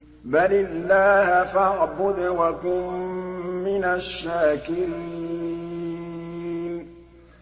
بَلِ اللَّهَ فَاعْبُدْ وَكُن مِّنَ الشَّاكِرِينَ